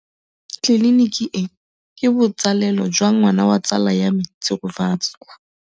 Tleliniki e, ke botsalêlô jwa ngwana wa tsala ya me Tshegofatso.